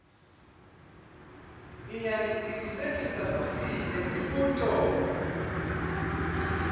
ngiyacinisekisa kutsi lemibuto